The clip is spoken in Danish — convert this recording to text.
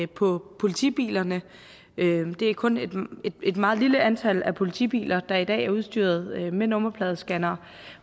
på politibilerne det er kun et meget lille antal politibiler der i dag er udstyret med nummerpladescannere